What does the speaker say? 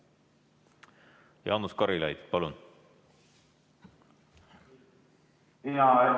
Jaanus Karilaid, palun!